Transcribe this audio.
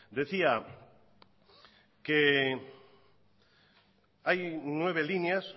decía que hay nueve líneas